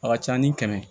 A ka ca ni kɛmɛ